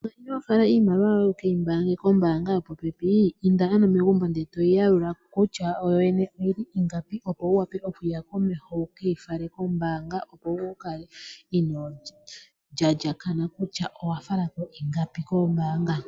Manga ino fala iimaliwa yoye kombaanga wu keyi yalule kutya oyili ingapi inda ano megumbo eto yi yalula wu tale kutya yo yene oyili ingapi opo wu wape okuya komeho wu keyi fale kombaanga opo wu kale inoo lyalyakana kutya owa fala ko ingapi kombaanga.